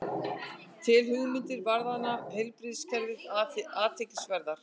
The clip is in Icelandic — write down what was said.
Telur hugmyndir varðandi heilbrigðiskerfið athyglisverðar